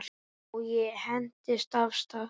Og ég hentist af stað.